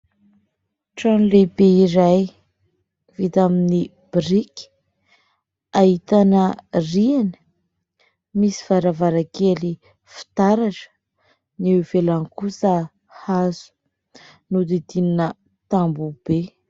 Trano lehibe iray vita amin'ny biriky : ahitana rihana, misy varavarankely fitaratra, ny eo ivelany kosa hazo, nodidinina tamboho be.